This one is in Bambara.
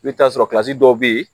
I bɛ t'a sɔrɔ dɔw bɛ yen